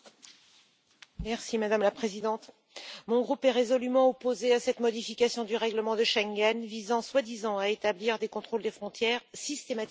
Madame la Présidente, mon groupe est résolument opposé à cette modification du règlement de Schengen visant soi-disant à établir des contrôles des frontières systématiques et obligatoires.